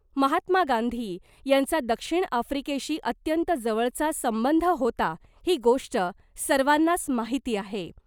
महात्मा गांधी यांचा दक्षिण आफ्रीकेशी अत्यंत जवळचा संबंध होता ही गोष्ट सर्वांनाच माहिती आहे .